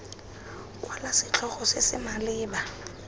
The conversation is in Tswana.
kwala setlhogo se se maleba